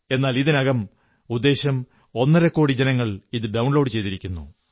എന്നാൽ ഇതിനകം ഉദ്ദേശം ഒന്നരക്കോടി ജനങ്ങൾ ഇത് ഡൌൺ ലോഡു ചെയ്തിരിക്കുന്നു